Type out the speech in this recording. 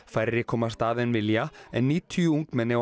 færri komast að en vilja en níutíu ungmenni